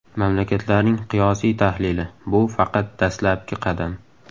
Mamlakatlarning qiyosiy tahlili – bu faqat dastlabki qadam.